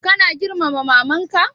Kana girmama maman ka?